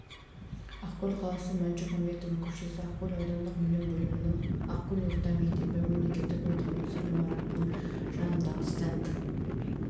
ақкөл қаласы мәншүк мәметова көшесі ақкөл аудандық білім бөлімінің ақкөл орта мектебі мемлекеттік мекемесі ғимаратының жанындағы стенд